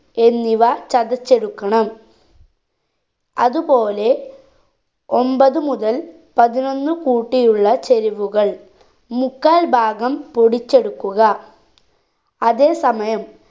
എന്നിവ ചതച്ചെടുക്കണം അതുപോലെ ഒമ്പത് മുതൽ പതിനൊന്ന് കൂട്ടിയുള്ള ചേരുവകൾ മുക്കാൽ ഭാഗം പൊടിച്ചെടുക്കുക അതെ സമയം